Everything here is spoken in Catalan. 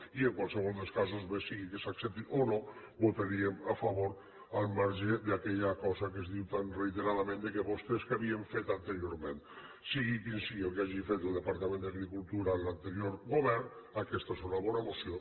i en qualsevol dels casos bé sigui que s’accepti o no hi votaríem a favor al marge d’aquella cosa que es diu tan reiteradament d’ i vostès què havien fet anteriorment sigui el que sigui el que hagi fet el departament d’agricultura en l’anterior govern aquesta és una bona moció